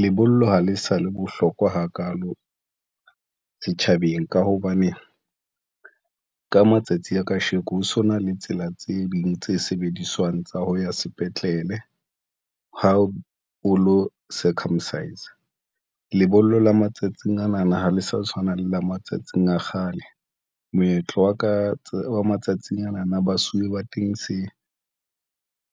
Lebollo ha le sa le bohlokwa hakalo setjhabeng, ka hobane ka matsatsi a kasheko ho so na le tsela tse ding tse sebediswang tsa ho ya sepetlele. Ha o lo circumcise a lebollo la matsatsing ana na, ha le sa tshwana le la matsatsing a kgale moetlo wa ka wa matsatsing ana na, basuwe ba teng, se